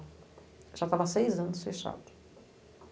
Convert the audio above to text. Já estava seis anos fechado.